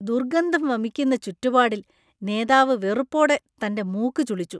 ദുർഗന്ധം വമിക്കുന്ന ചുറ്റുപാടിൽ നേതാവ് വെറുപ്പോടെ തന്‍റെ മൂക്ക് ചുളിച്ചു.